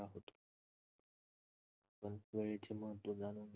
वेळेचे महत्त्व जाणून